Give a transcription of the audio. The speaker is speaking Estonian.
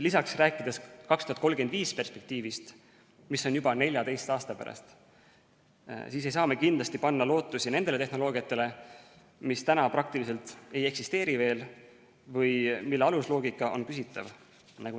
Lisaks, rääkides 2035 perspektiivist, mis on juba 14 aasta pärast, ei saa me kindlasti panna lootusi sellisele tehnoloogiale, mida praegu veel peaaegu ei eksisteeri või mille alusloogika on küsitav.